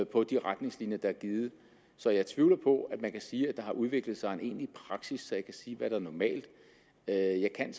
på de retningslinjer der er givet så jeg tvivler på at man kan sige at der har udviklet sig en egentlig praksis så jeg kan sige hvad der er normalt jeg jeg kan